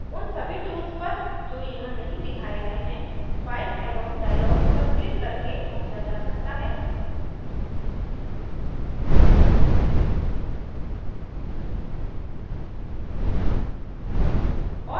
उन सभी tools पर जो यहाँ नहीं दिखाए all हैं file एवं dialogs पर क्लिक करके पहुंचा जा सकता है